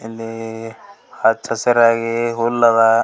ಇಲ್ಲಿ ಹಚ್ಚ ಹಸ್ರಾಗಿ ಹುಲ್ಲ್ ಅದ್.